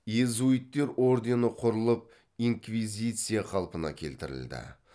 иезуиттер ордені құрылып инквизиция қалпына келтірілді